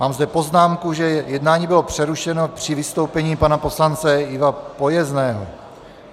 Mám zde poznámku, že jednání bylo přerušeno při vystoupení pana poslance Iva Pojezného.